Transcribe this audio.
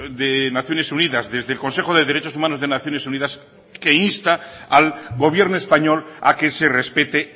de naciones unidas desde el consejo de derechos humanos de naciones unidas que insta al gobierno español a que se respete